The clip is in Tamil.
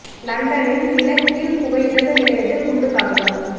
லண்டனில் நிலக் கீழ் புகையிரத நிலையத்தில் குண்டுத் தாக்குதல்